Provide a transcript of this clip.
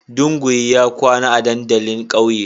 Dunguwi ya kwana a dandalin kauye.